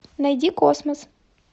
найди космос